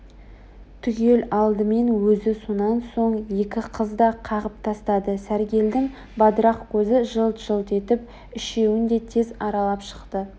түгел алдымен өзі сонан соң екі қыз да қағып тастады сәргелдің бадырақ көзі жылт-жылт етіп үшеуін де тез аралап шықты